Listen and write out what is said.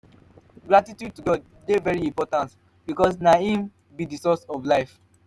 gratitude to god de very important because na im be di source of life